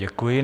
Děkuji.